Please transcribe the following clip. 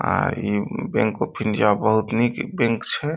आ ई bank of India बहुत निक बैंक छे।